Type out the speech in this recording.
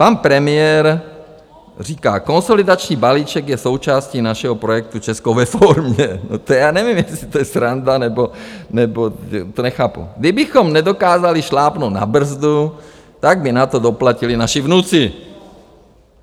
Pan premiér říká: "Konsolidační balíček je součástí našeho projektu Česko ve formě" - to já nevím, jestli to je sranda, nebo to nechápu - "kdybychom nedokázali šlápnout na brzdu, tak by na to doplatili naši vnuci."